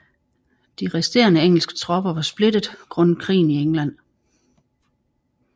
De resterende engelske tropper var splittet grundet krigen i England